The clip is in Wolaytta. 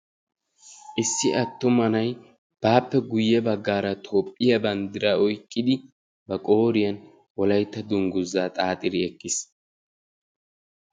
Issi atumma na'ay baappe guyye baggaara Toophiya banddiraa oykkidi ba qooriyaan wolaytta dungguza xaaxidi eqqiis.